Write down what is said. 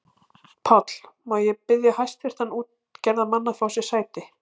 PÁLL: Má ég biðja hæstvirta útgerðarmenn að fá sér sæti.